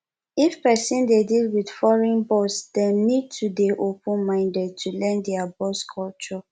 if person dey deal with foreign boss dem need to dey open minded to learn their boss culture